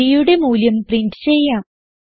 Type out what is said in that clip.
bയുടെ മൂല്യം പ്രിന്റ് ചെയ്യാം